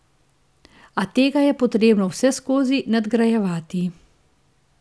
A tega je potrebno vseskozi nadgrajevati.